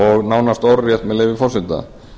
og nánast orðrétt með leyfi forseta